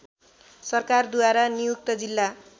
सरकारद्वारा नियुक्त जिल्ला